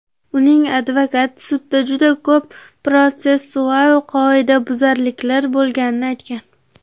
Uning advokati sudda juda ko‘p protsessual qoidabuzarliklar bo‘lganini aytgan .